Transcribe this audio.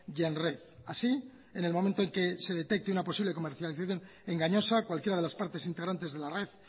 y en red así en el momento en que se detecte una posible comercialización engañosa cualquiera de las partes integrantes de la red